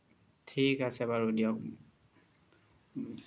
থিক আছে বাৰু দিওক